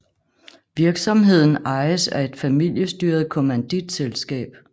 Virksomheden ejes af et familestyret kommanditselskab